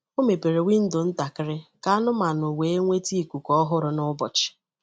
Ọ mepere windo ntakịrị ka anụmanụ wee nweta ikuku ọhụrụ n'ụbọchị.